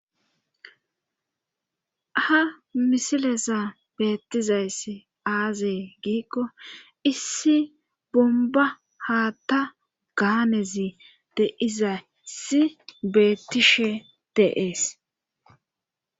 ha misilesa beettizayss aazee giikko issi bomba haa ta gaanezi deiza si beettishe deees